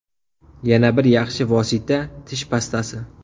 Yana bir yaxshi vosita tish pastasi.